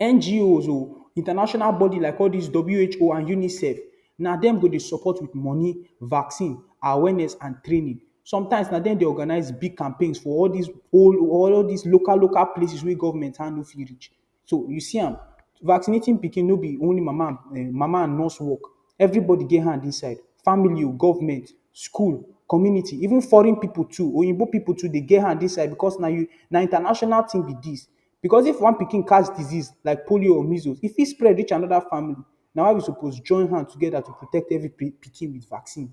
NGOs o, international bodies like all these W.H.O and UNICEF na dem go dey support with money, vaccine, awareness and training. Sometimes na them dey organize big campaigns for all these all this local-local places wey government hand no fit reach. So you see am vaccinating pikin vaccinating pikin no be only mama um mama and nurse work everybody get hand inside. Family o, government, school, community, even foreign pipul too, oyinbo pipul too dey get hand inside because na international thing be dis. Because if one pikin catch disease like polio or measles if fit spread reach another family na why we suppose join hand together protect every pikin with vaccine.